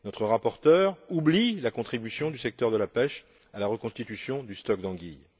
Notre rapporteure oublie la contribution du secteur de la pêche à la reconstitution du stock d'anguilles.